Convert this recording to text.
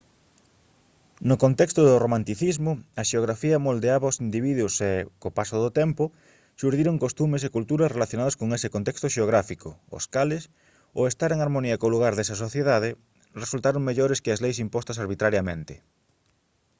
no contexto do romanticismo a xeografía moldeaba aos individuos e co paso do tempo xurdiron costumes e cultura relacionados con ese contexto xeográfico os cales ao estar en harmonía co lugar desa sociedade resultaron mellores que as leis impostas arbitrariamente